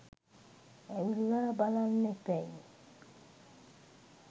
ඇවිල්ලා බලන්න එපැයි